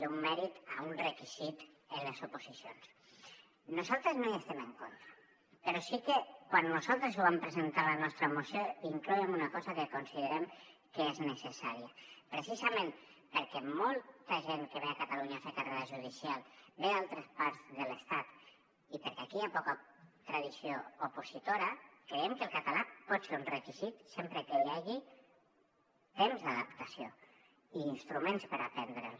d’un mèrit a un requisit en les oposicions nosaltres no hi estem en contra però sí que quan nosaltres ho vam presentar en la nostra moció hi incloíem una cosa que considerem que és necessària precisament perquè molta gent que ve a catalunya a fer carrera judicial ve d’altres parts de l’estat i perquè aquí hi ha poca tradició opositora creiem que el català pot ser un requisit sempre que hi hagi temps d’adaptació i instruments per aprendre’l